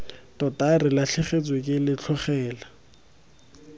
tota re latlhegetswe ke letlhogela